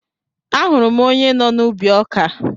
Ahụrụ m onye nọ n'ubi ọkà